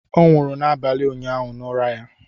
Ọ nwụrụ n'abalị ụnyaahụ n'ụra ya